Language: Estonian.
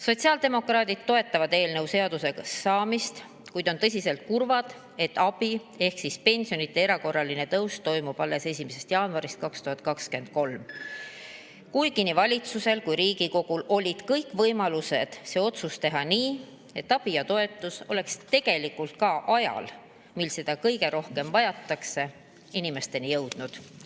Sotsiaaldemokraadid toetavad eelnõu seaduseks saamist, kuid on tõsiselt kurvad, et abi ehk pensionide erakorraline tõus alles 1. jaanuarist 2023, kuigi nii valitsusel kui ka Riigikogul olid kõik võimalused see otsus teha nii, et abi ja toetus oleks ka ajal, mil seda kõige rohkem vajatakse, inimesteni jõudnud.